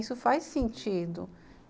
Isso faz sentido.